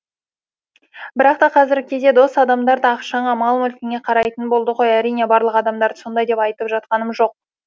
бірақта қазіргі кезде дос адамдар да ақшаңа мал мүлкіңе қарайтын болды ғой әрине барлық адамдарды сондай деп айтып жатқаным жоқ